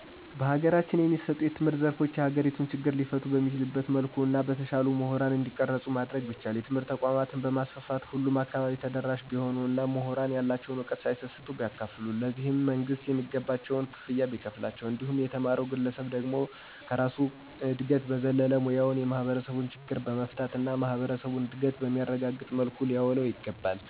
በሀገራችን የሚሰጡ የትምህርት ዘርፎች የሀገሪቱን ችግሮች ሊፈቱ በሚችል መልኩ እና በተሻለ ሙሁራን እንዲቀረጽ ማድረግ ቢቻል. ትምህርት ተቋማትን በማስፋፋት ሁሉም አካባቢ ተደራሽ ቢሆን እና ሙሁራንም ያላቸዉን ዕውቀት ሳይሰስቱ ቢያካፉሉ ,ለዚህም መንግስትም የሚገባቸውን ክፍያ ቢከፍላቸው እንዲሁም የተማረዉ ግለሰብ ደግሞ ከራሱ እድገት በዘለለ ሙያዉን የማህበረሰብ ችግሮችን በመፍታት እና የማህበረሰቡን እድገት በሚያረጋግጥ መልኩ ሊያዉለዉ ይገባል።